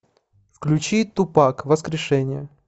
включи тупак воскрешение